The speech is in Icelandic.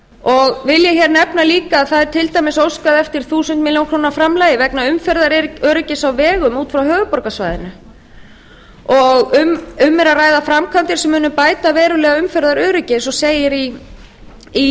og vil ég nefna líka að það er til dæmis óskað vegna þúsund milljónir króna framlagi vegna umferðaröryggi á vegum út frá höfuðborgarsvæðinu um er að ræða framkvæmdir sem munu bæta verulega umferðaröryggi eins og segir í